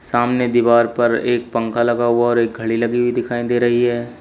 सामने दीवार पर एक पंखा लगा हुआ और एक घड़ी लगी हुई दिखाई दे रही है।